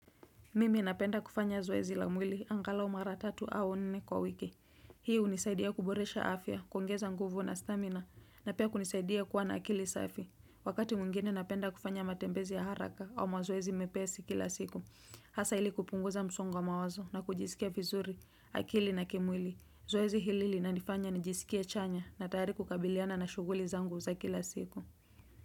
Mimi napenda kufanya zoezi la mwili angalau mara tatu au nne kwa wiki. Hii unisaidia kuboresha afya, kuongeza nguvu na stamina, na pia kunisaidia kuwana akili safi. Wakati mwingine napenda kufanya matembezi ya haraka au mazoezi mepesi kila siku. Hasa ili kupunguza msongo wa mawazo na kujisikia vizuri akili na kimwili. Zoezi hilili na nifanya nijisikie chanya na tayari kukabiliana na shuguli zangu za kila siku.